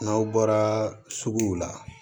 N'aw bɔra suguw la